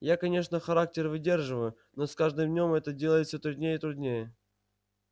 я конечно характер выдерживаю но с каждым днём это делать всё труднее и труднее